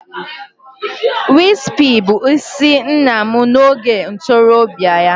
Wispy bụ isi nna m n'oge ntorobịa ya